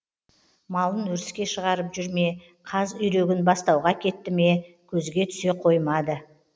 малын өріске шығарып жүр ме қаз үйрегін бастауға әкетті ме көзге түсе қоймады